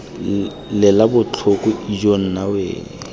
lela botlhoko ijoo nna we